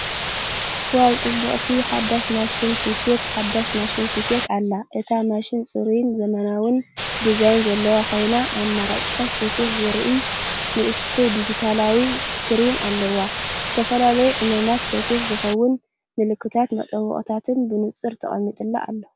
ዋው! ጽብቕቲ ሓዳስ ማሽን ስፌት! ሓዳስ ማሽን ስፌት ኣላ! እታ ማሽን ጽሩይን ዘመናውን ዲዛይን ዘለዋ ኮይና፡ ኣማራጺታት ስፌት ዘርኢ ንእሽቶ ዲጂታላዊ ስክሪን ኣለዋ። ንዝተፈላለዩ ዕማማት ስፌት ዝኸውን ምልክታትን መጠወቒታትን ብንጹር ተቐሚጡሉ ኣሎ!